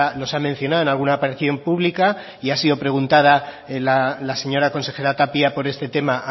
los ha mencionado en alguna aparición pública y ha sido preguntada la señora consejera tapia por este tema